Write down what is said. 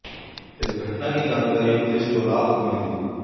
इस घटना की जानकारी पुलिस को रात को मिली